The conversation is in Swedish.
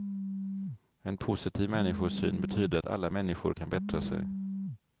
En positiv människosyn betyder att alla människor kan bättra sig.